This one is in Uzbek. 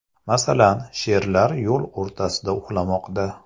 Masalan, sherlar yo‘l o‘rtasida uxlamoqda .